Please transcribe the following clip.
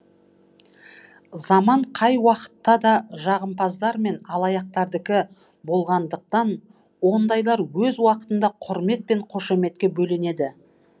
заман қай уақытта да жағымпаздар мен алаяқтардікі болғандықтан ондайлар өз уақытында құрмет пен қошеметке бөленеді